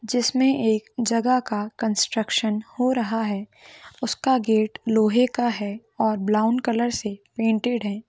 जिस मे एक जगह का कन्स्ट्रक्शन हो रहा है उसका गेट लोहे का है और ब्राउन कलर से पैंटटेड है।